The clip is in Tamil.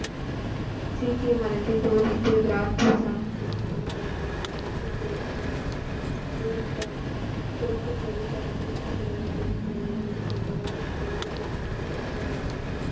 சீக்கிய மதத்தை போதித்து கிராதிய சாகித்தில் முதல் குருக்களை போல சீக்கியர்களுக்கும் போதித்தார் பிறக்கும் போதே தன் வீட்டில் பிறந்த பெண் குழந்தைகளை கொல்வதால் ரோபோரை சேர்ந்த பணக்காரரான,